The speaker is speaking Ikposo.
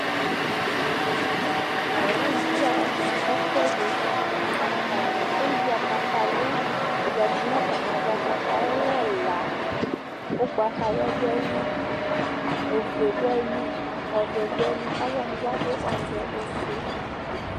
Talʋwani bi axa ɛfʋɛdi, atani ewuia yadʋ nʋbatami ava, kataya yɛlɛ ɛla ʋgbatawla dʋ ayili, ofue dʋ ayili, ɔvɛ dʋ ayili, alʋwani bi adʋ ɔvɛ, ofue